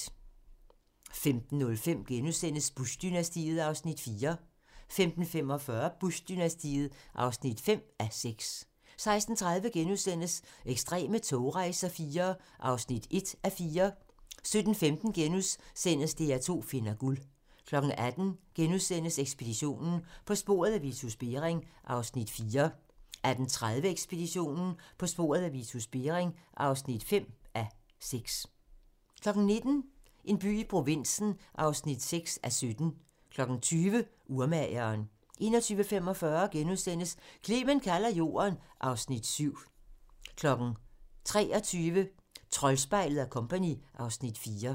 15:05: Bush-dynastiet (4:6)* 15:45: Bush-dynastiet (5:6) 16:30: Ekstreme togrejser IV (1:4)* 17:15: DR2 finder guld * 18:00: Ekspeditionen - På sporet af Vitus Bering (4:6)* 18:30: Ekspeditionen - På sporet af Vitus Bering (5:6) 19:00: En by i provinsen (6:17) 20:00: Urmageren 21:45: Clement kalder jorden (Afs. 7)* 23:00: Troldspejlet & Co. (Afs. 4)